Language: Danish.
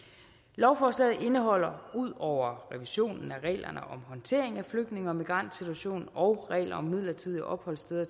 lovforslaget indeholder ud over revisionen af reglerne om håndtering af flygtninge og migrantsituationen og reglerne om midlertidige opholdssteder